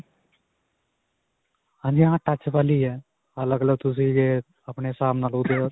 ਹਾਂਜੀ ਹਾਂ. touch ਵਾਲੀ ਹੈ ਅੱਲਗ-ਅੱਲਗ ਤੁਸੀਂ ਇਹ ਆਪਣੇ ਹਿਸਾਬ ਨਾਲ.